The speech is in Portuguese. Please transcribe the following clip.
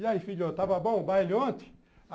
E aí, filhão, estava bom o baile ontem?